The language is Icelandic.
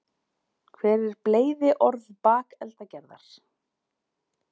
hver er bleyðiorð bakeldagerðar